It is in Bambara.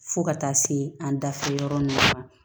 Fo ka taa se an dafɛ yɔrɔ ninnu ma